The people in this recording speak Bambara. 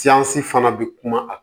fana bɛ kuma a